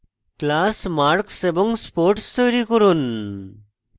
classes marks এবং sports তৈরী করুন